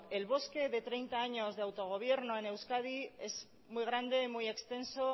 el bosque de treinta años de autogobierno en euskadi es muy grande muy extenso